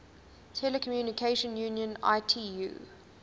telecommunication union itu